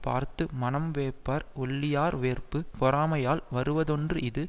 பார்த்து மனம் வேர்ப்பர் ஒள்ளியர் வேர்ப்பு பொறாமையால் வருவதொன்று இது